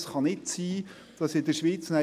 Es kann nicht sein, dass in der Schweiz